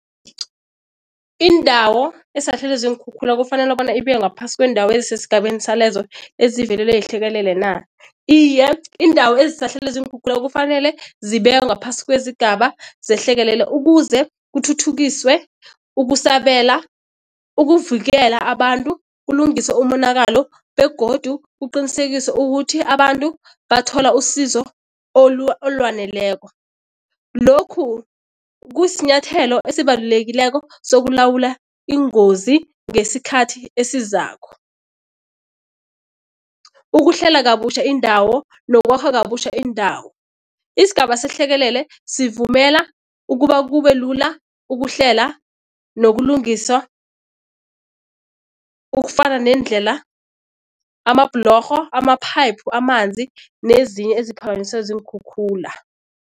Indawo esahlelwe ziinkhukhula kufanele bona ibe ngaphasi kweendawo esesigabeni salezo ezivelelwe yihlekelele na? Iye, iindawo ezisahlelwe ziinkhukhula kufanele zibekwe ngaphasi kwezigaba zehlekelele ukuze kuthuthukiswe ukusabela, ukuvikela abantu kulungiswe umonakalo begodu kuqinisekise ukuthi abantu bathola usizo olwaneleko. Lokhu kusinyathelo esibalulekileko sokulawula iingozi ngesikhathi esizako. ukuhlela kabutjha iindawo nokwakha kabutjha iindawo. Isigaba sehlekelele sivumela ukuba kube lula ukuhlela nokulungiswa ukufana neendlela, amabhlorho, ama-pipe, amanzi nezinye eziphakanyiswe ziinkhukhula.